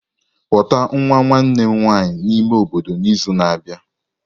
Kpọta nwa nwanne m nwanyị n'ime obodo n'izu na-abịa.